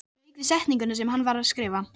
Lauk við setninguna sem hann var að skrifa.